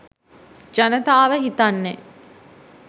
ජනතාව හිතන්නේ